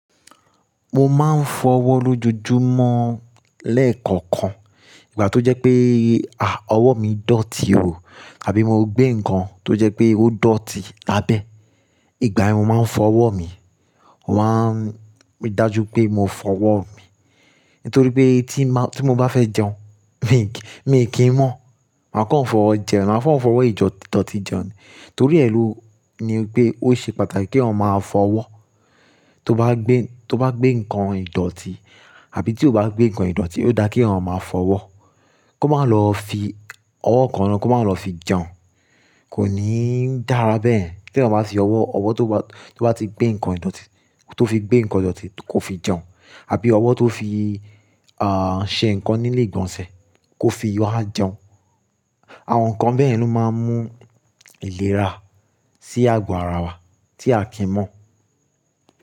Mo máa ń fọ ọwọ́ lójoojúmọ́ lẹ́ẹ̀kọ̀kan. Ìgbà tó jẹ́ pé, à, ọwọ́ mi dọ̀tí ò, tàbí mo gbé nǹkan tó jẹ́ pé ó dọ̀tí lábẹ́. Ìgbàyen ni máa ń fọ ọwọ́ mi. Mo máa ń rí dájú pé mo fọ ọwọ́ mi. Nítorí pé tí má, tí mo bá fẹ́ jẹun, mi kì í, mi kì í mọ̀. Máa kọ́ fọ ọwọ́ jẹun, máa kọ́ fọ ọwọ́ ìdọ̀tí jẹun. Nítorí e ni ní pé ó ṣe pàtàkì kí eyan máa fọ ọwọ́. Tó bá gbé, tó bá gbé nǹkan ìdọ̀tí, àbí tí ó bá gbé nǹkan ìdọ̀tí, ó dá kí eyan máa fọ ọwọ́. Kó máa lọ fi ọwọ́ nkan naa kó máa lọ fi jẹun. Kò ní dára bẹ́ẹ̀. Tí eyan bá fi ọwọ́, ọwọ́ tó bá, tó bá ti gbé nǹkan ìdọ̀tí, tó fi gbé nǹkan ìdọ̀tí kó fi jẹun, àbí ọwọ́ tó fi, à, ṣe nǹkan nílé ìgbọ̀nsẹ̀ kó fi wa jẹun. Àwọn nǹkan bẹ́yen ni o máa ń mú ìlera sí àgọ́ ara wa tí a kì í mọ̀